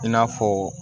I n'a fɔ